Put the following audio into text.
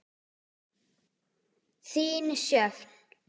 Þín, Sjöfn.